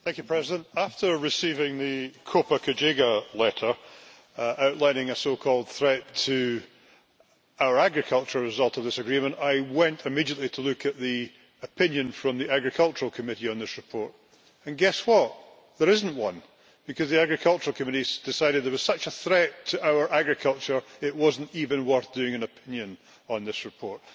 Mr President, after receiving the Copa Cogeca letter outlining a so called threat to our agriculture as a result of this agreement, I went immediately to look at the opinion from the Agricultural Committee on this report, and guess what? There isn't one, because the Agriculture Committee decided that it was such a threat to our agriculture it was not even worth doing an opinion on this report.